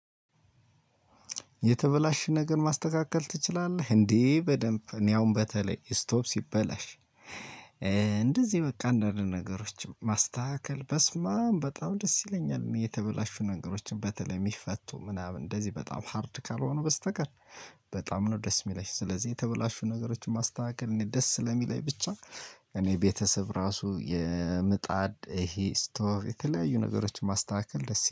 የተበላሽ ነገር ማስተካከል ትችላለህ እንዴ? በደንብ እኔ አሁን በተለይ ስቶቭ ሲበላሽ እንደዚህ በቃ እፈአንዳንድ ነገሮች ማስተካከል በስመአም በጣም ደስ ይለኛል። የተበላሹ ነገሮችን በተለይ የሚፈቱ ምናምን እንደዚህ በጣም ሃርድ ካልሆኑ በስተቀር። በጣም ነው ደስ እሚለኝ ስለዚህ የተበላሹ ነገሮችን ማስተካከል እኔ ደስ ስለሚለኝ ብቻ። እኔ ቤተሰብ ራሱ የምጣድ ይሄ ስቶቭ የተለያዩ ነገሮችን ማስተካከል ደስ